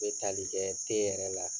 U bɛ tali kɛ te yɛrɛ la.